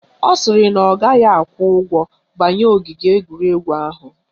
Ọ sịrị na ọ gaghị akwụ ụgwọ banye ogige egwuregwu ahụ